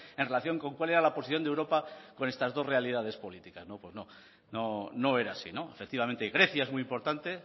en relación con cuál era la posición de europa con estas dos realidades políticas pues no no era así efectivamente grecia es muy importante